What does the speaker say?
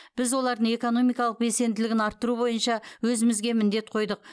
біз олардың экономикалық белсенділігін арттыру бойынша өзімізге міндет қойдық